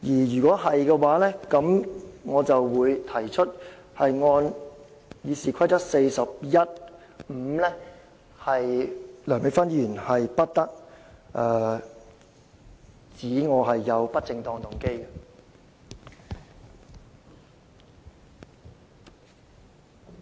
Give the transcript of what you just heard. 如果是，我想根據《議事規則》第415條提出，梁美芬議員不得意指我有不正當動機。